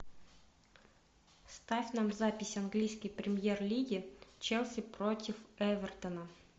ставь нам запись английской премьер лиги челси против эвертона